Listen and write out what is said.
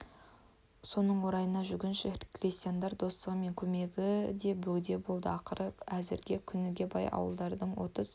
соның орайына жүргінші крестьяндар достығы мен көмегі де бөгде болды ақыры әзіргі күнге бай ауылдардың отыз